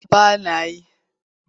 A'a ba na yi.